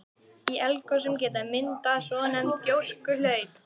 Í eldgosum geta myndast svonefnd gjóskuhlaup.